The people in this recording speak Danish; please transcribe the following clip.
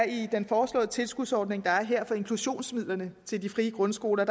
i den foreslåede tilskudsordning der er for inklusionsmidlerne til de frie grundskoler